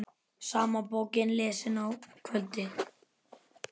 Sama bókin lesin að kvöldi.